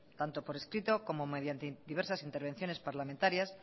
tanto por escrito como mediante diversas intervenciones parlamentarias